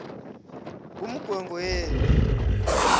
ngumngwengweni